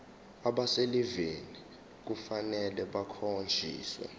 abaselivini kufanele bakhonjiswe